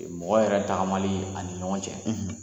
Mɔgɔ yɛrɛ tagamali ani ɲɔgɔn cɛ,